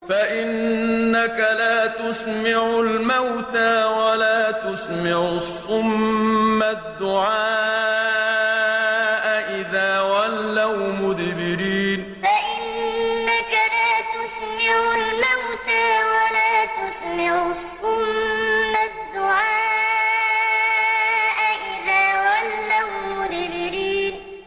فَإِنَّكَ لَا تُسْمِعُ الْمَوْتَىٰ وَلَا تُسْمِعُ الصُّمَّ الدُّعَاءَ إِذَا وَلَّوْا مُدْبِرِينَ فَإِنَّكَ لَا تُسْمِعُ الْمَوْتَىٰ وَلَا تُسْمِعُ الصُّمَّ الدُّعَاءَ إِذَا وَلَّوْا مُدْبِرِينَ